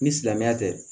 Ni silamɛya tɛ